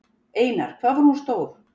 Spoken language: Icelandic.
Einar: Hvað var hún stór?